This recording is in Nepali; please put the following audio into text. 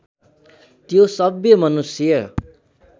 त्यो सभ्य मनुष्य